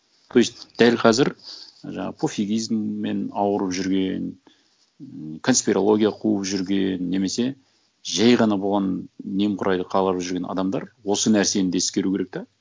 то есть дәл қазір жаңа пофигизммен ауырып жүрген конспирология қуып жүрген немесе жай ғана болған немқұрайлы қарап жүрген адамдар осы нәрсені да ескеру керек те